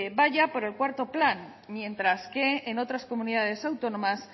va ya por el cuarto plan mientras que en otras comunidades autónomas